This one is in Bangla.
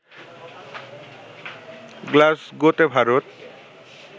গ্লাসগোতে ভারত